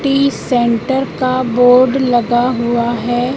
T centre का board लगा हुआ है।